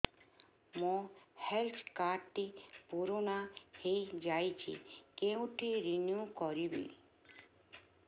ମୋ health card ଟି ପୁରୁଣା ହେଇଯାଇଛି କେଉଁଠି ରିନିଉ କରିବି